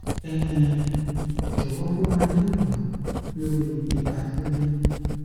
um jọwọ fún wa ní ìmọràn lórí ipa tí ó ní